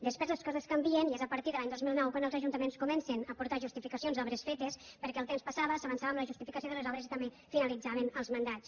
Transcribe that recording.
després les co·ses canvien i és a partir de l’any dos mil nou quan els ajunta·ments comencen a aportar justificacions d’obres fetes perquè el temps passava s’avançava en la justificació de les obres i també finalitzaven els mandats